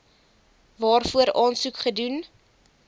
waarvoor aansoek gedoen